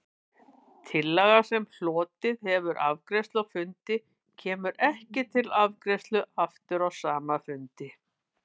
Tillaga, sem hlotið hefur afgreiðslu á fundi, kemur ekki til afgreiðslu aftur á sama fundi.